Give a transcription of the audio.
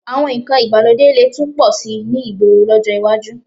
Àwọn nǹkan ìgbàlódé lè tún pọ̀ síi ní ìgboro lọ́jọ́ iwájú